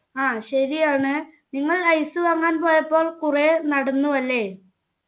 ആ ശരിയാണ് നിങ്ങൾ ice വാങ്ങാൻ പോയപ്പോൾ കുറേ നടന്നു അല്ലെ